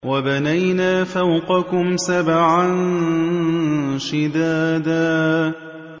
وَبَنَيْنَا فَوْقَكُمْ سَبْعًا شِدَادًا